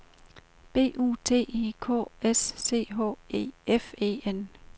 B U T I K S C H E F E N